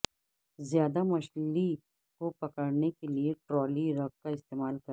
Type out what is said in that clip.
زیادہ مچھلی کو پکڑنے کے لئے ٹرالی رگ کا استعمال کریں